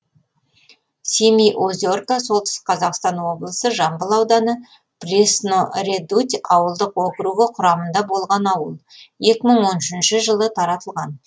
семиозерка солтүстік қазақстан облысы жамбыл ауданы пресноредуть ауылдық округі құрамында болған ауыл екі мың он үшінші жылы таратылған